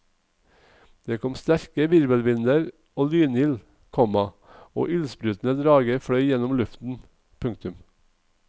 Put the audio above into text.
Det kom sterke virvelvinder og lynild, komma og ildsprutende drager fløy gjennom luften. punktum